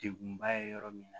Dekunba ye yɔrɔ min na